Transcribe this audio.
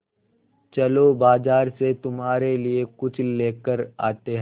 चलो बाज़ार से तुम्हारे लिए कुछ लेकर आते हैं